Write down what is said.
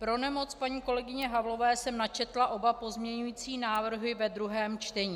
Pro nemoc paní kolegyně Havlové jsem načetla oba pozměňující návrhy ve druhém čtení.